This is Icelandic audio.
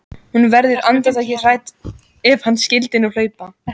Hún verður andartak hrædd: Ef hann skyldi nú hlaupa.